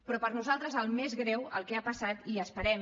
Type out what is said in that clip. però per nosaltres el més greu el que ha passat i esperem